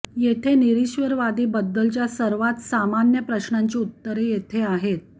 येथे निरीश्वरवादी बद्दलच्या सर्वात सामान्य प्रश्नांची उत्तरे येथे आहेत